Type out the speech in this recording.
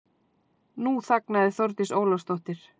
Nú þagnaði Þórdís Ólafsdóttir.